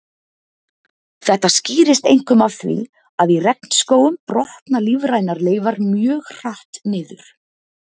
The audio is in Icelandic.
Þetta skýrist einkum af því að í regnskógum brotna lífrænar leifar mjög hratt niður.